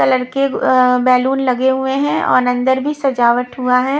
Colour के अ balloon लगे हुए हैं और अंदर भी सजावट हुआ है।